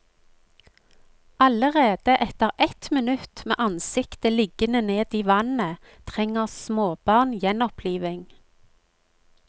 Allerede etter ett minutt med ansiktet liggende ned i vannet trenger småbarn gjenopplivning.